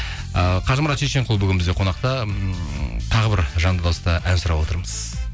ы қажымұрат шешенқұл бүгін бізде қонақта ммм тағы бір жанды дауыста ән сұрап отырмыз